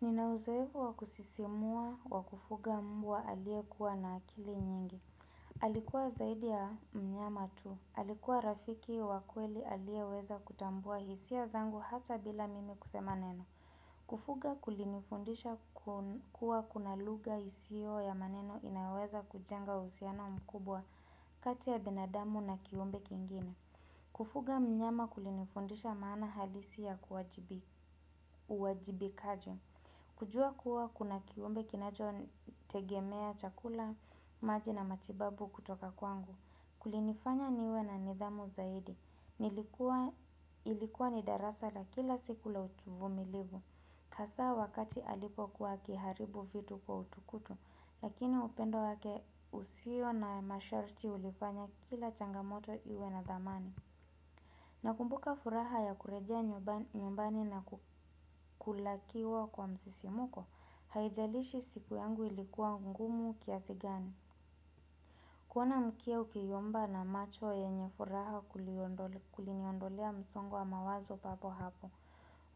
Ninauzohevu wakusisimua wakufuga mbwa alie kuwa na akili nyingi. Alikuwa zaidi ya mnyama tu. Alikuwa rafiki wa kweli alie weza kutambua hisi ya zangu hata bila mimi kusemaneno. Kufuga kulinifundisha kuwa kunaluga hisio ya maneno inaweza kujanga husiano mkubwa kati ya binadamu na kiumbe kingine. Kufuga mnyama kulinifundisha maana halisi ya uwajibikajo. Kujua kuwa kuna kiumbe kinacho tegemea chakula maji na matibabu kutoka kwangu. Kulinifanya niwe na nidhamu zaidi. Ilikuwa ni darasa la kila siku la uvumilivu. Hasa wakati alipokuwa akiharibu vitu kwa utukutu. Lakini upendo wake husio na mashorti hulifanya kila changamoto iwe na dhamani. Na kumbuka furaha ya kurejea nyumbani na kulakiwa kwa msisimuko. Haijalishi siku yangu ilikuwa ngumu kiasi gani kuona mkia ukiyomba na macho enye furaha kuliniondolea msongo mawazo papo hako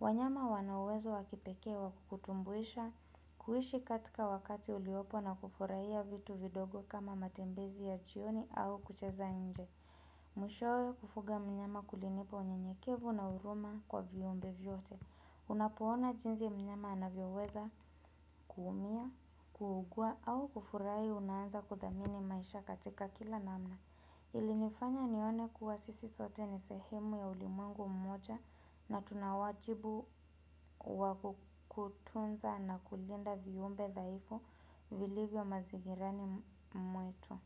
wanyama wanauwezo wakipekewa kukutumbuisha kuishi katika wakati uliopo na kufurahia vitu vidogo kama matembezi ya jioni au kucheza nje Mwishowe kufuga mnyama kulinipo unyenyekevu na huruma kwa viumbe vyote Unapoona jinsi mnyama anavyoweza kuumia, kuugua au hunaanza kudhamini maisha katika kila namna ilinifanya nione kuwa sisi zote ni sehemu ya ulimwengu mmoja na tunawajibu wakukutunza na kulinda viumbe dhaifu vilivyo mazigirani mwetu.